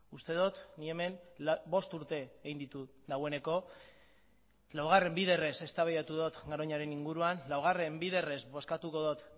uste dut ni hemen bost urte egin ditut dagoeneko laugarren biderrez eztabaidatu dut garoñaren inguruan laugarren biderrez bozkatuko dut